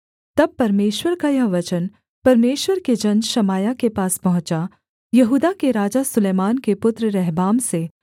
तब परमेश्वर का यह वचन परमेश्वर के जन शमायाह के पास पहुँचा यहूदा के राजा सुलैमान के पुत्र रहबाम से